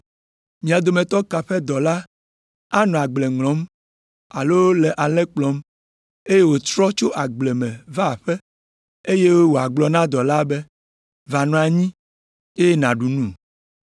“Mia dometɔ ka ƒe dɔla anɔ agble ŋlɔm alo le alẽ kplɔm, eye wòtrɔ tso agble va aƒe me, eye wòagblɔ na dɔla be, ‘Va nɔ anyi, eye nàɖu nu’?